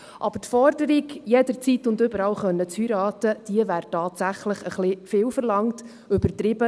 Aber die Forderung, jederzeit und überall heiraten zu können, die wäre tatsächlich etwas viel verlangt und übertrieben.